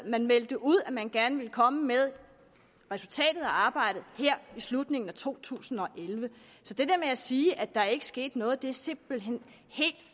man meldte ud at man gerne ville komme med resultatet af arbejdet her i slutningen af to tusind og elleve så det der at sige at der ikke er sket noget er simpelt hen helt